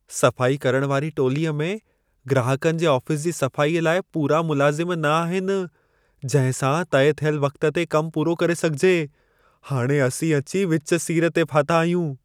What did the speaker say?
सफाई करण वारी टोलीअ में ग्राहकनि जे आफ़ीस जी सफ़ाई लाइ पूरा मुलाज़िम न आहिनि, जंहिं सां तइ थियल वक़्त ते कमु पूरो करे सघिजे। हाणे असीं विच सीर ते अची फाथा आहियूं।